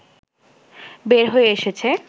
বের হয়ে এসেছে